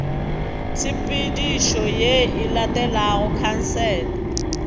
tshepedišo ye e latelago khansele